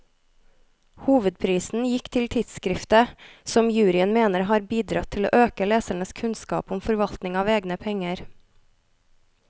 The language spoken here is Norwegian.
Hovedprisen gikk til tidskriftet, som juryen mener har bidratt til å øke lesernes kunnskap om forvaltning av egne penger.